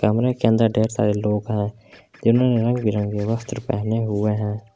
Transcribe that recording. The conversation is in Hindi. कमरे के अंदर ढेर सारे लोग हैं जिन्होंने रंग बिरंगे वस्त्र पहने हुए हैं।